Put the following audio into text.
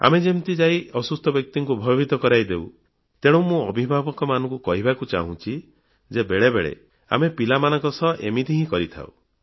ଆମେ ଯେମିତି ଯାଇ ଅସୁସ୍ଥ ବ୍ୟକ୍ତିକୁ ଭୟଭୀତ କରାଇଦେଉ ତେଣୁ ମୁଁ ଅଭିଭାବକମାନଙ୍କୁ କହିବାକୁ ଚାହୁଁଛି ଯେ ବେଳେବେଳେ ଆମେ ପିଲାମାନଙ୍କ ସହ ଏମିତି ହିଁ କରିଥାଉ